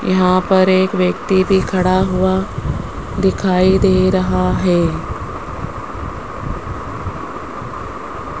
यहां पर एक व्यक्ति भी खड़ा हुआ दिखाई दे रहा है।